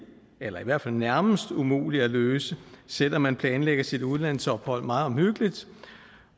eller i hvert fald nærmest umuligt at løse selv om man planlagde sit udlandsophold meget hyggeligt